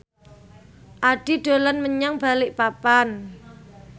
Addie dolan menyang Balikpapan